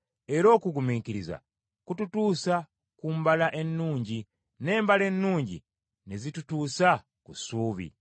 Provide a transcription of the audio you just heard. Era okugumiikiriza kututuusa ku mbala ennungi, n’embala ennungi ne zitutuusa ku ssuubi.